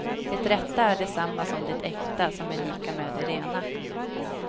Det rätta är detsamma som det äkta som är lika med det rena.